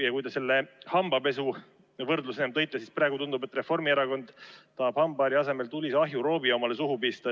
Ja kui te selle hambapesuvõrdluse tõite, siis ütlen, et praegu tundub, nagu tahaks Reformierakond hambaharja asemel endale tulise ahjuroobi suhu pista.